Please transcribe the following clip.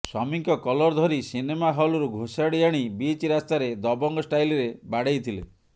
ସ୍ବାମୀଙ୍କ କଲର ଧରି ସିନେମା ହଲରୁ ଘୋଷାଡ଼ି ଆଣି ବିଚ୍ ରାସ୍ତାରେ ଦବଙ୍ଗ ଷ୍ଟାଇଲରେ ବାଡ଼େଇଥିଲେ